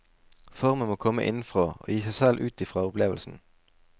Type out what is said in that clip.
Formen må komme innenfra og gi seg selv ut fra opplevelsen.